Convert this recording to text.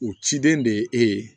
U cilen de ye e ye